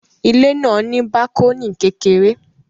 Ilé náà ní bákọ́nì kékeré